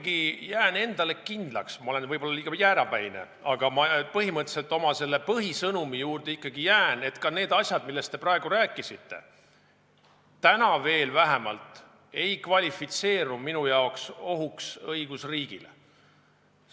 Ma jään ikkagi endale kindlaks – ma olen võib-olla liiga jäärapäine, aga põhimõtteliselt oma põhisõnumi juurde jään –, et ka need asjad, millest te praegu rääkisite, vähemalt praegu veel ei kvalifitseeru minu arvates ohuks õigusriigile.